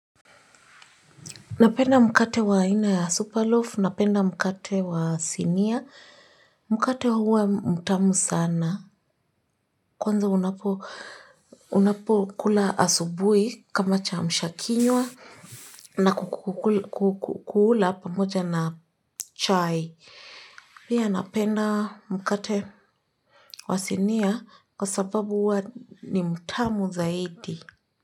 Napenda mkate wa aina ya superloaf, napenda mkate wa sinia, mkate huwa mtamu sana, kwanza unapokula asubuhi kama kiamsha kinywa na kukula pamoja na chai. Pia napenda mkate wa sinia kwa sababu huwa ni mtamu zaidi.